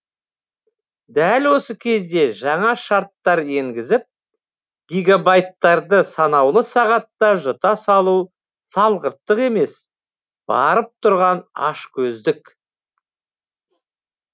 дәл осы кезде жаңа шарттар енгізіп гигабайттарды санаулы сағатта жұта салу салғырттық емес барып тұрған ашкөздік